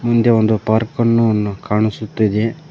ಹಿಂದೆ ಒಂದು ಪಾರ್ಕ್ ಅನ್ನು ಕಾಣಿಸುತ್ತಿದೆ.